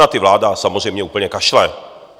Na ty vláda samozřejmě úplně kašle.